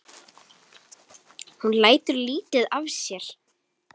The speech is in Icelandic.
Hún lætur lítið yfir sér.